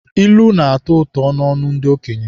Ilu na-atọ ụtọ n'ọnụ ndị okenye.